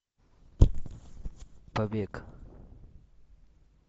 побег